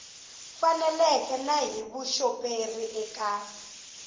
faneleke na hi vuxoperi eka